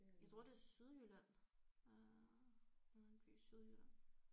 Jeg tror det er Sydjylland øh nede i en by i Sydjylland